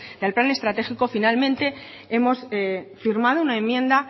del plan estratégico finalmente hemos firmado una enmienda